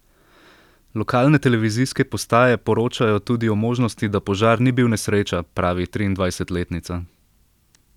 Lokalne televizijske postaje poročajo tudi o možnosti, da požar ni bil nesreča, pravi triindvajsetletnica.